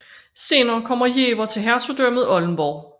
Senere kom Jever til Hertugdømmet Oldenborg